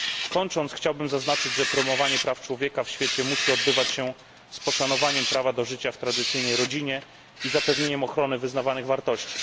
Kończąc chciałbym zaznaczyć, że promowanie praw człowieka w świecie musi odbywać się z poszanowaniem prawa do życia w tradycyjnej rodzinie i zapewnieniem ochrony wyznawanych wartości.